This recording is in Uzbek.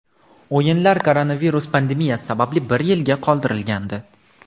O‘yinlar koronavirus pandemiyasi sababli bir yilga qoldirilgandi.